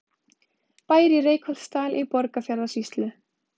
Bær í Reykholtsdal í Borgarfjarðarsýslu.